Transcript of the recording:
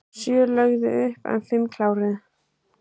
Sjö lögðu upp en fimm kláruðu